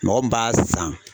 Mɔgɔ min b'a san